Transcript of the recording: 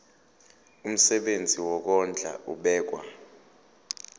umsebenzi wokondla ubekwa